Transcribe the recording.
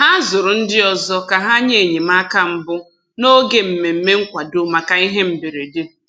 Ha zụrụ ndị ọzọ ka ha nye enyemaka mbụ n'oge mmemme nkwado maka ihe mberede.